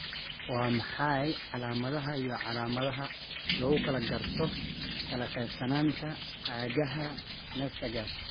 Waa maxay calaamadaha iyo calaamadaha lagu garto kala qaybsanaanta cagaha nystagmus?